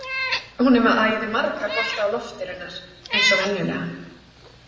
Hún er með æði marga bolta á lofti raunar, eins og venjulega.